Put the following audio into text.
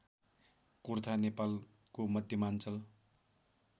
कुर्था नेपालको मध्यमाञ्चल